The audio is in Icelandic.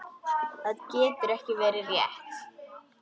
Það getur ekki verið rétt.